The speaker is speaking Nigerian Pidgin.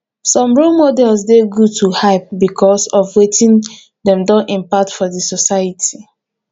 some role models de good to hype because of wetin dem don impact for di society